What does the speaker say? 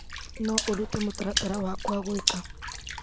No ũrute mũtaratara wakwa gwĩka .